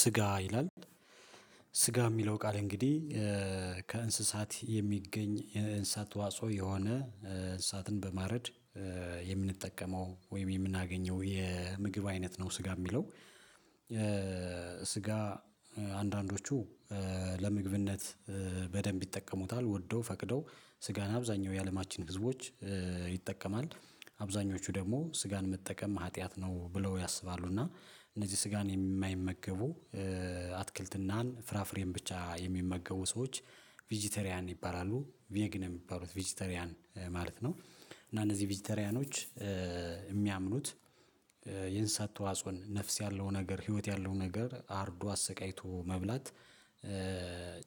ስጋ ይላል ስጋ የሚለው ቃል እንግዲህ ከእንስሳት የሚገኝ የእንስሳት ተዋፆ የሆነ እንስሳትን በማረድ የምንጠቀመው ወይም የምናገኘው የምግብ አይነት ነው። ስጋ የሚለው። ስጋ አንዳንዶቹ ለምግብነት በደንብ ይጠቀሙታል ወደው ፈቅደው ስጋን አብዛኛው የአለማችን ህዝቦች ይጠቀማል አብዛኞቹ ደግሞ ስጋን መጠቀም ሀጥያት ነው ብለው ያስባሉ እና እነዚህ ስጋን የማይመገቡ አትክልትናን ፍራፍሬን ብቻ የሚመገቡ ሰዎች ቬጂቴሪያን ይባላሉ። ቬግ ነው የሚባሉት ቬጂተሪያን ማለት ነው። እና እነዚህ ቬጂተሪያኖች የሚያምኑት የእንሰሳት ተዋጽኦን ነፍስ ያለው ነገር ህይወት ያለው ነገር አርዶ አሰቃይቶ መብላት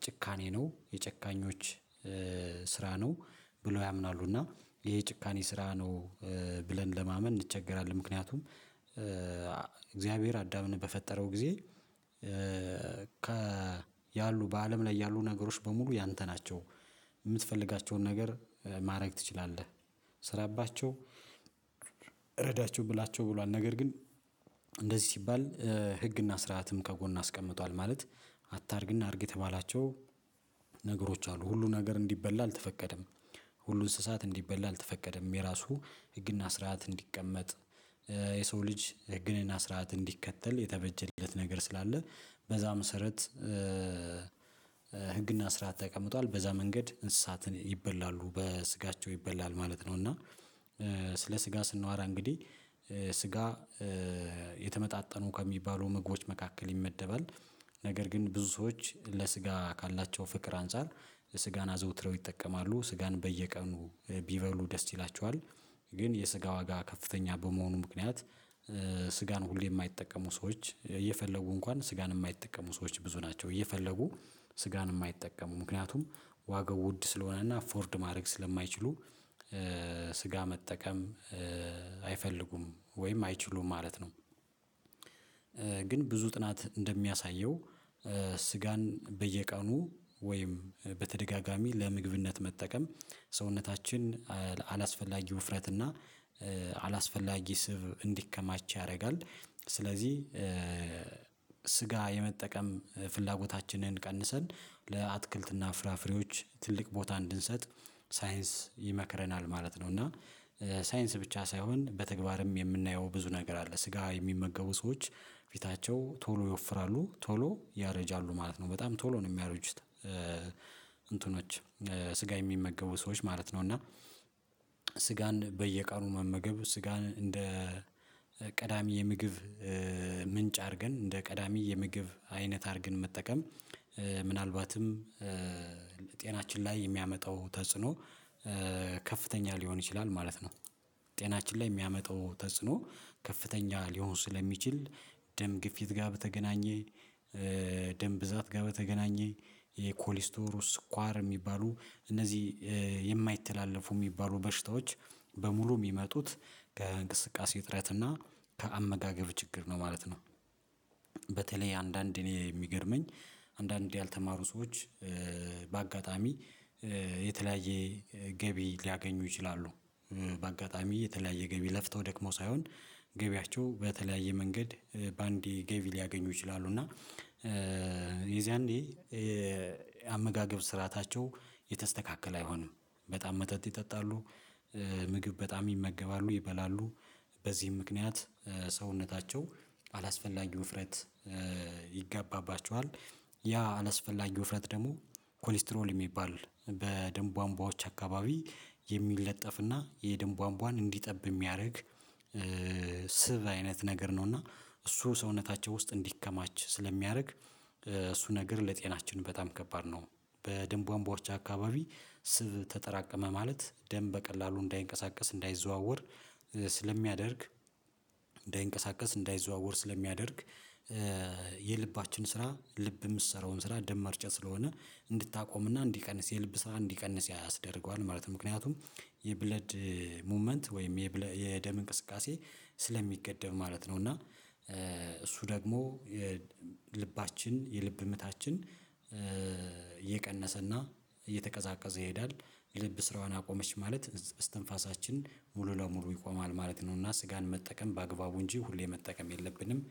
ጭካኔ ነው የጨካኞች ስራ ነው ብለው ያምናሉ። እና ይሄ ጭካኔ ስራ ነው። ብለን ለማመን እንቸገራለን። ምክንያቱም እግዚአብሔር አዳምን በፈጠረው ጊዜ ከ ያሉ በአለም ላይ ያሉ ነገሮች በሙሉ ያንተ ናቸው የምትፈልጋቸውን ነገር ማድረግ ትችላለህ። ስራባቸው ረዳቸው ብላቸው ብሏል። ነገር ግን እንደዚህ ሲባል ህግና ስርዓትም ከጎን አስቀምጧል። ማለት አታርግና አድርግ የተባላቸው ነገሮች አሉ ሁሉን ነገር እንዲበላ አልተፈቀደም። ሁሉን እንስሳት እንዲበላ አልተፈቀደም። የራሱ ህግና ስርዓት እንዲቀመጥ የሰው ልጅ ህግንና ስርዓት እንዲከተል የተበጀለት ነገር ስላለ። በዛ መሰረት ህግና ስርዓት ተቀምጧል በዛ መንገድ እንስሳትን ይበላሉ በስጋቸው ይበላል ማለት ነው። እና ስለ ስጋ ስንወራ እንግዲህ ስጋ የተመጣጠኑ ከሚባሉ ምግቦች መካከል ይመደባል። ነገር ግን ብዙ ሰዎች ለስጋ ካላቸው ፍቅር አንፃር ለስጋና አዘውትረው ይጠቀማሉ ስጋን በየቀኑ ቢበሉ ደስ ይላቸዋል። ግን የስጋ ዋጋ ከፍተኛ በመሆኑ ምክንያት ስጋን ሁሌ የማይጠቀሙ ሰዎች እየፈለጉ እንኳን ስጋን የማይጠቀሙ ሰዎች ብዙ ናቸው። እየፈለጉ ስጋን የማይጠቀሙ ምክንያቱም ዋገው ውድ ስለሆነና አፎርድ ማድረግ ስለማይችሉ ስጋ መጠቀም አይፈልጉም ወይም አይችሉም ማለት ነው። ግን ብዙ ጥናት እንደሚያሳየው ስጋን በየቀኑ ወይም በተደጋጋሚ ለምግብነት መጠቀም ሰውነታችን አላስፈላጊ ውፍረት እና አላስፈላጊ ስብ እንዲከማች ያደርጋል። ስለዚህ ስጋ የመጠቀም ፍላጎታችንን ቀንሰን ለአትክልትና ፍራፍሬዎች ትልቅ ቦታ እንድንሰጥ ሳይንስ ይመክረናል ማለት ነው። እና ሳይንስ ብቻ ሳይሆን በተግባርም የምናየው ብዙ ነገር አለ። ስጋ የሚመገቡ ሰዎች ፊታቸው ቶሎ ይወፍራሉ ቶሎ ያረጃሉ ማለት ነው በጣም ቶሎ ነው የሚያርጁት። እንትኖች ስጋ የሚመገቡ ሰዎች ማለት ነው። እና ስጋን በየቃኑ መመገብ ስጋን እንደ ቀዳሚ የምግብ ምንጭ አድርገን እንደ ቀዳሚ የምግብ አይነት አድርገን መጠቀም። ምናልባትም ለጤናችን ላይ የሚያመጣው ተጽዕኖ ከፍተኛ ሊሆን ይችላል ማለት ነው። ጤናችን ላይ የሚያመጣው ተጽዕኖ ከፍተኛ ሊሆን ስለሚችል ደም ግፊት ጋር በተገናኘ ደም ብዛት ጋር በተገናኘ የኮሌስትሮል ስኳር የሚባሉ እነዚህ የማይተላለፉ የሚባሉ በሽታዎች በሙሉ የሚመጡት ከእንቅስቃሴ እጥረት እና ከአመጋገብ ችግር ነው ማለት ነው። በተለይ አንዳንድ እኔ የሚገርመኝ አንዳንድ ያልተማሩ ሰዎች በአጋጣሚ የተለያየ ገቢ ሊያገኙ ይችላሉ። በአጋጣሚ የተለያየ ገቢ ለፍተው ደክሞ ሳይሆን ገቢያቸው በተለያየ መንገድ በአንዴ ገቢ ሊያገኙ ይችላሉ እና የዝያኔ አመጋገብ ስርዓታቸው የተስተካከለ አይሆንም። በጣም መጠጥ ይጠጣሉ ምግብ በጣም ይመገባሉ ይበላሉ በዚህም ምክንያት ሰውነታቸው አላስፈላጊ ውፍረት ይጋባባቸዋል። ያ አላስፈላጊ ውፍረት ደግሞ ኮሌስትሮል የሚባል በደም ቧንቧዎች አካባቢ የሚለጠፍና የድም ቧንቧን እንዲጠብ የሚያደርግ ስብ አይነት ነገር ነው። እና እሱ ሰውነታቸው ውስጥ እንዲከማች ስለሚያደርግ እሱ ነገር ለጤናችን በጣም ከባድ ነው። በደም ቧንቧዎች አካባቢ ስብ ተጠራቀመ ማለት ደም በቀላሉ እንዳይንቀሳቀስ እንዳይዘዋወር ስለሚያደርግ እንዳይንቀሳቀስ እንዳይዘዋወር ስለሚያደርግ። የልባችን ስራ ልብ የምትሰራውን ስራ ደም ማርጫት ስለሆነ እንድታቆምና እንዲቀንስ የልብ ስራ እንዲቀንስ ያስደርገዋል ማለት ነው። ምክንያቱም የብለድ ሙቭመንት ወይም የደም እንቅስቃሴ ስለሚገደብ ማለት ነው። እና እሱ ደግሞ የልባችን የልብ ምታችን የቀነሰና እየተቀዛቀዘ ይሄዳል። ልብ ስራዋን አቆመች ማለት እስትንፋሳችን ሙሉ ለሙሉ ይቆማል ማለት ነው። እና ስጋን መጠቀም በአግባቡ እንጂ ሁሌ መጠቀም የለብንም።